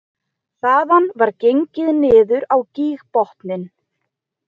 Þaðan var gengið niður á gígbotninn